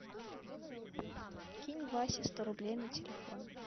кинь васе сто рублей на телефон